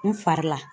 N fari la